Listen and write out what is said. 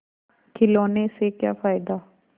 खिलौने से क्या फ़ायदा